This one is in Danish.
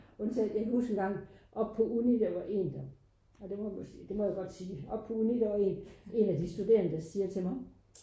Undtagen jeg kan huske engang oppe på uni der var én der ja det må jeg godt sige det må jeg godt sige oppe på uni der var én én af de studerende der siger til mig